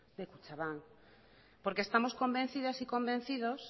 de kuxatbank porque estamos convencidas y convencidos